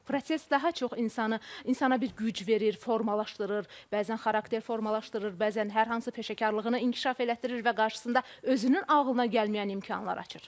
Proses daha çox insanı insana bir güc verir, formalaşdırır, bəzən xarakter formalaşdırır, bəzən hər hansı peşəkarlığını inkişaf elətdirir və qarşısında özünün ağlına gəlməyən imkanlar açır.